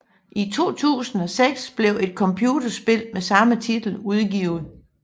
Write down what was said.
I 2006 blev et computerspil med samme titel udgivet